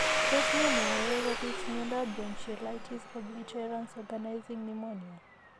Tos ne neyoe kobit miondop bronchiolitis obliterans organizing pneumonia ?